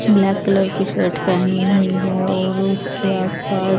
black colour कि shirt पहनी हुई है और उसके आस पास --